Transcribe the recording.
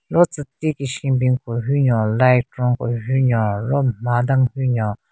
Ro tsü ti ki shenbin ko hyu nyon light ron ko hunyo ro n mha den hyu nyon.